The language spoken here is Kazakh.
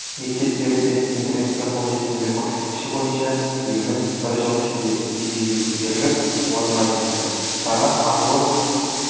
мектептерде интернетке қолжетімділік көрсеткіші бойынша еліміз бір жыл ішінде деңгейге көтіріліп орынға жетті шара ақ жол